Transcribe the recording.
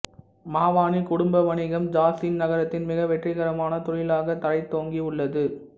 மாவானி குடும்ப வணிகம் ஜாசின் நகரத்தின் மிக வெற்றிகரமான தொழிலாகத் தழைத்தோங்கி உள்ளது